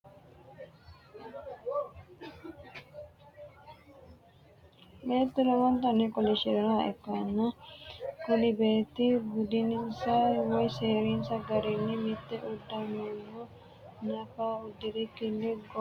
Beettu lowonnitanni kolishirinoha ikanna kunni Beeti budinnisa woyi seerinsa garinni mitte udanonno naffa udirikinni goowahono eleele lawannoricho kiretenni lonsoonha wodhe sammotenno waajo hocco usudhe afamanno..